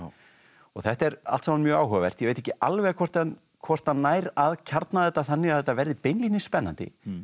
þetta er allt saman mjög áhugavert ég veit ekki alveg hvort hann hvort hann nær að kjarna þetta þannig að þetta verði beinlínis spennandi